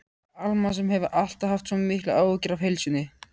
Alma sem hefur alltaf haft svo miklar áhyggjur af heilsunni.